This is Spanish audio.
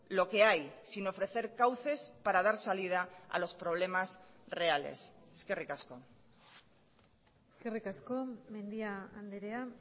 lo que hay sin ofrecer cauces para dar salida a los problemas reales eskerrik asko eskerrik asko mendia andrea